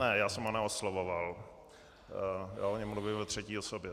Ne, já jsem ho neoslovoval, já o něm mluvil ve třetí osobě.